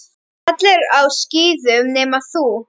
Allir á skíðum nema þú.